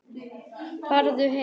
Farðu heim!